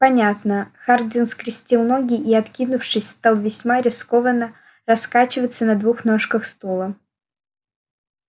понятно хардин скрестил ноги и откинувшись стал весьма рискованно раскачиваться на двух ножках стула